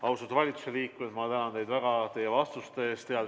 Austatud valitsusliikmed, ma tänan teid väga vastuste eest!